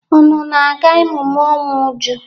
Unu na-aga emume ọnwụ Uju.